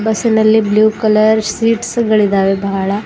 ಬಸ್ಸಿನಲ್ಲಿ blue colour seats ಗಳಿದವೆ ಬಹಳ.